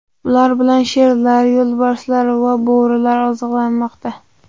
Ular bilan sherlar, yo‘lbarslar va bo‘rilar oziqlanmoqda.